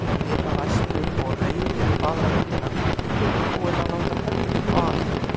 spyr hann æstur og reiðir upp aðra höndina, tilbúinn að láta höggið vaða.